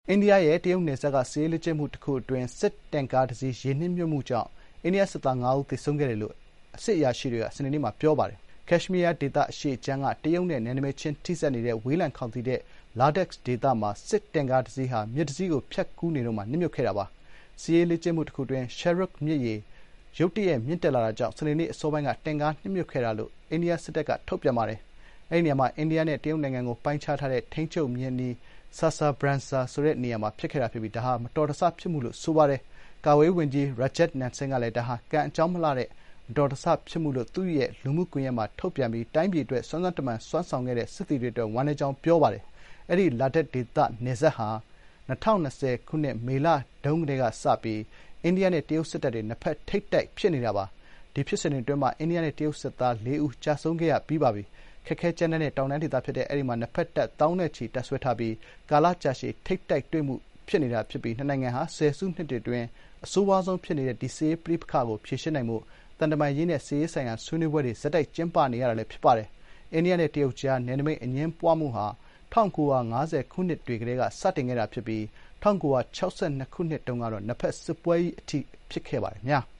အိန္ဒိယရဲ့ တရုတ်နယ်စပ်က စစ်ရေးလေ့ကျင့်မှု တခု အတွင်း တင့်ကားတစီး ရေနစ်မြုပ်မှုကြောင့် အိန္ဒိယစစ်သား ၅ ဦး သေဆုံးခဲ့တယ်လို့ အရာရှိတွေက စနေနေ့မှာ ပြောပါတယ်။ ကက်ရှ်မီးယား ဒေသအရှေ့ခြမ်းက တရုတ်နဲ့ နယ်နိမိတ်ချင်းထိစပ်နေတဲ့ ဝေးလံခေါင်သီတဲ့ လာဒက် Ladakh ဒေသမှာ စစ်တင့်ကားတစီးဟာ မြစ်တစီးကိုဖြတ်ကူးနေတုန်းမှာ နစ်မြုပ်သွားခဲ့တာပါ။ စစ်ရေးလေ့ကျင့်မှုတခုအတွင်း Shyok မြစ်ရေ ရုတ်တရက်မြင့်တက်လာမှုကြောင့် စနေနေ့အစောပိုင်းတွင် တင့်ကားနစ်မြုပ်ခဲ့ကြောင်း အိန္ဒိယစစ်တပ်ကွပ်ကဲမှုဌာနမှ ထုတ်ပြန်ချက်အရ သိရပါတယ်။ အဲဒီနေရာမှာ အိန္ဒိယနဲ့ တရုတ်နိုင်ငံကို ပိုင်းခြားထားတဲ့ ထိန်းချုပ်မျဉ်းအနီး Saser Brangsa မှာ ဖြစ်ခဲ့တာ ဖြစ်ပြီး မတော်တဆမှုဖြစ်မှုလို့ ဆိုပါတယ်။ ကာကွယ်ရေးဝန်ကြီး Rajnath Singh ကလည်း ဒါဟာ ကံအကြောင်းမလှလို့ ဖြစ်တဲ့ မတော်တဆ ဖြစ်မှုလို့ သူ့ရဲ့ လူမှုကွန်ရက် X မှာ ထုတ်ပြန်ပြီး တိုင်းပြည်အတွက် စွမ်းစွမ်းတမံ စွမ်းဆောင်ခဲ့တဲ့ စစ်သည်တွေအတွက် ဝမ်းနည်းကြောင်း ပြောပါတယ်။ အဲဒီ လာဒက် ဒေသ နယ်စပ်ဟာ ၂၀၂၀ ခုနှစ် မေလတုန်းကတည်းကစပြီး အိန္ဒိယနဲ့ တရုတ်စစ်တပ်တွေ နှစ်ဖက် ထိပ်တိုက် ဖြစ်နေတာပါ။ ဒီဖြစ်စဥ်တွေ အတွင်းမှာ အိန္ဒိယနဲ့ တရုတ်စစ်သား လေးဦး ကျဆုံးခဲ့ရပါတယ်။ ခက်ခဲကြမ်းတမ်းတဲ့ တောင်တန်းဒေသဖြစ်တဲ့ အဲဒီမှာ နှစ်ဖက်တပ် သောင်းနဲ့ ချီ တပ်စွဲထားပြီး ကာလကြာရှည် ထိပ်တိုက်တွေ့မှု ဖြစ်နေပြီး နှစ်နိုင်ငံဟာ ဆယ်စုနှစ်တွေအတွင်း အဆိုးရွားဆုံး ဖြစ်နေတဲ့ စစ်ရေးပဋိပက္ခကို ဖြေရှင်းနိုင်ဖို့ သံတမန်ရေးရာနဲ့ စစ်ရေးဆိုင်ရာ ဆွေးနွေးပွဲတွေ ဆက်တိုက်ကျင်းပနေရချိန်လည်း ဖြစ်ပါတယ်။ အိန္ဒိယနဲ့ တရုတ်ကြား နယ်နိမိတ်အငြင်းပွားမှုဟာ ၁၉၅၀ ခုနှစ်တွေကတည်းက စတင်ခဲ့တာဖြစ်ပြီး ၁၉၆၂ ခုနှစ်တုန်းက နှစ်ဘက် စစ်ပွဲကြီး အထိ ဖြစ်ပွားခဲ့ပါတယ်။